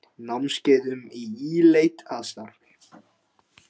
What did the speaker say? Námskeið um Í leit að starfi.